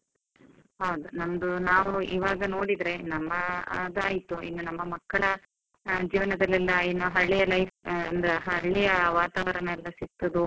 ಹೌದು, ನಮ್ದು ನಾವು ಇವಾಗ ನೋಡಿದ್ರೆ ನಮ್ಮ ಅದಾಯಿತು, ಇನ್ನು ನಮ್ಮ ಮಕ್ಕಳ ಜೀವನದಲ್ಲೆಲ್ಲ ಇನ್ನು ಹಳ್ಳಿಯ life ಅಂದ್ರೆ ಹಳ್ಳಿಯ ವಾತಾವರಣ ಎಲ್ಲ ಸಿಕ್ತದೋ.